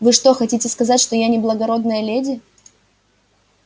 вы что хотите сказать что я не благородная леди